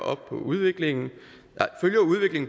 udviklingen